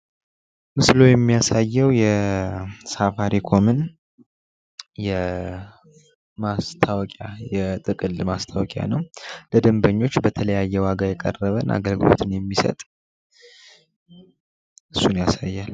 ምስሉ የሚያሳየው የሳፋሪኮምን ማስታወቂያ የጥቅል ማስታወቂያ ነው። ለደንበኞች በተለያየ ዋጋ የቀረበ አገልግሎትን የሚሰጥ እሱን ያሳያል።